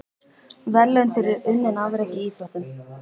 Verðlaun fyrir unnin afrek í íþróttum.